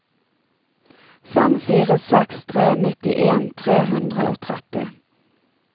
fem fire seks tre nittien tre hundre og tretti